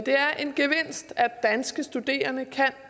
er en gevinst at danske studerende kan